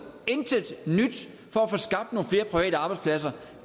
intet nyt for at få skabt nogle flere private arbejdspladser